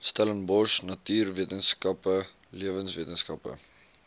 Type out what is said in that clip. stellenbosch natuurwetenskappe lewenswetenskappe